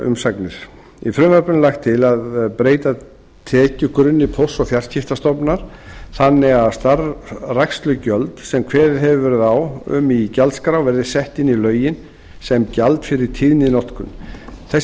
umsagnir í frumvarpinu er lagt til að breyta tekjugrunni póst og fjarskiptastofnunar þannig að starfrækslugjöld sem kveðið hefur verið á um í gjaldskrá verði sett inn í lögin sem gjald fyrir tíðninotkun þessi